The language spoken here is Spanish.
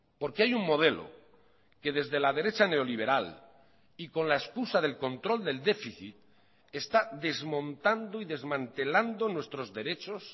porque hay un modelo que desde la derecha neoliberal y con la excusa del control del déficit está desmontando y desmantelando nuestros derechos